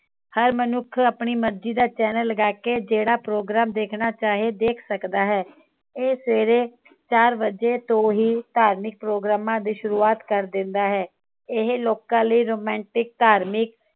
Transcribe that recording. ਹਰ ਮਨੁੱਖ ਆਪਣੀ ਮਰਜੀ ਦਾ channel ਲਗਾਕੇ ਜਿਹੜਾ program ਦੇਖਣਾ ਚਾਹੇ ਦੇਖ ਸਕਦਾ ਹੈ ਇਹ ਸਵੇਰੇ ਚਾਰ ਵਜੇ ਤੋਂ ਹੀ ਧਾਰਮਿਕ ਪ੍ਰੋਗਰਾਮਾਂ ਦੀ ਸ਼ੁਰੂਆਤ ਕਰ ਦਿੰਦਾ ਹੈ ਇਹ ਲੋਕਾਂ ਲਾਇ romantic ਧਾਰਮਿਕ